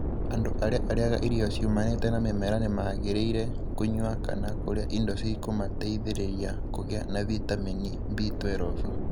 Andũ arĩa arĩaga irio ciumanĩte na mĩmera nĩ mangĩrĩire kũnyũa kana kũrĩa indo cĩkumateithĩrĩria kũgĩa na vitamini B12.